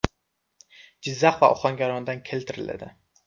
Jizzax va Ohangarondan keltiriladi.